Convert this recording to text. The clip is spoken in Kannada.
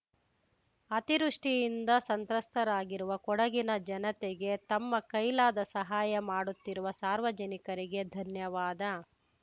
ಅತಿವೃಷ್ಟಿಯಿಂದ ಸಂತ್ರಸ್ತರಾಗಿರುವ ಕೊಡಗಿನ ಜನತೆಗೆ ತಮ್ಮ ಕೈಲಾದ ಸಹಾಯ ಮಾಡುತ್ತಿರುವ ಸಾರ್ವಜನಿಕರಿಗೆ ಧನ್ಯವಾದ